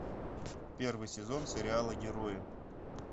первый сезон сериала герои